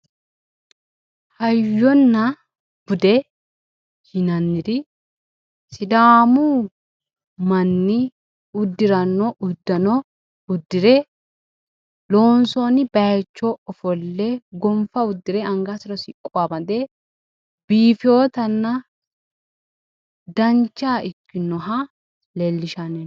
Hayyonna bude yinanniri sidaamu manni uddiranno uddano uddire loonsoonni bayicho ofolle gonfa uddire angasira siqqo amade biifinotanna dancha ikkinota leellishanno